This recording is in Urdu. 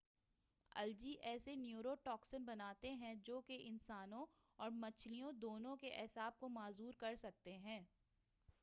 الجی ایسے نیورو ٹاکسن بناتے ہیں جو کہ انسانوں اور مچھلیوں دونوں کے اعصاب کو معذور کر سکتے ہیں